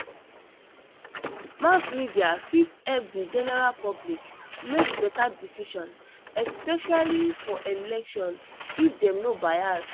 Mass media fit help the general public make better decision, especially for election, if dem no bias.